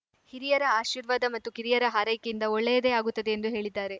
ಹಿರಿಯರ ಆಶೀರ್ವಾದ ಮತ್ತು ಕಿರಿಯರ ಹಾರೈಕೆಯಿಂದ ಒಳ್ಳೆಯದೇ ಆಗುತ್ತದೆ ಎಂದು ಹೇಳಿದ್ದಾರೆ